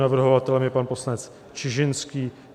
Navrhovatelem je pan poslanec Čižinský.